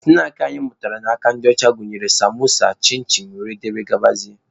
Snaakị anyị mụtara n'aka ndị ọcha gụnyere samosa, chin chin wdg.